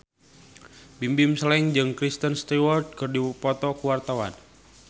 Bimbim Slank jeung Kristen Stewart keur dipoto ku wartawan